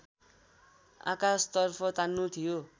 आकाशतर्फ तान्नु थियो